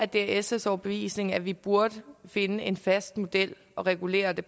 det er sfs overbevisning at vi burde finde en fast model at regulere det